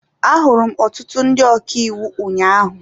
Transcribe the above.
Ahụrụ m ọtụtụ ndị ọka iwu ụnyaahụ.